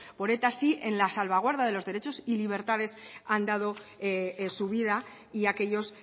sí en la salvaguarda de los derechos y libertades ha dado su vida y aquellos